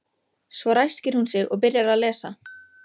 Svo ræskir hún sig og byrjar að lesa.